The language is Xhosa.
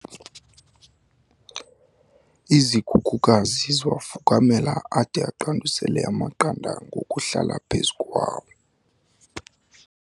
Izikhukukazi ziwafukamela ade aqandusele amaqanda ngokuhlala phezu kwawo